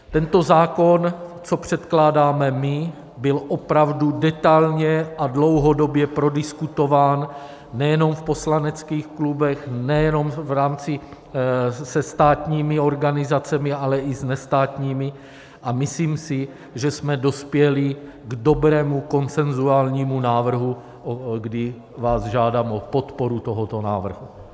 Tento zákon, co předkládáme my, byl opravdu detailně a dlouhodobě prodiskutován nejenom v poslaneckých klubech, nejenom v rámci se státními organizacemi, ale i s nestátními, a myslím si, že jsme dospěli k dobrému konsenzuálnímu návrhu, kdy vás žádám o podporu tohoto návrhu.